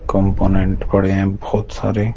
component पड़े हैं बहुत सारे--